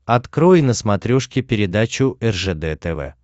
открой на смотрешке передачу ржд тв